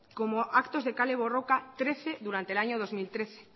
como actos de kale borroka trece durante el año dos mil trece